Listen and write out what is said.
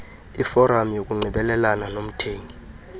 iforam yokunxibelelana komthengi